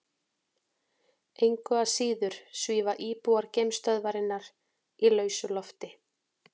Engu að síður svífa íbúar geimstöðvarinnar í lausu lofti.